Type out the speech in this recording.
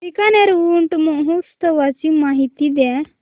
बीकानेर ऊंट महोत्सवाची माहिती द्या